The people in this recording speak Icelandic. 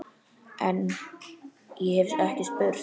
En- ég hef ekki spurt.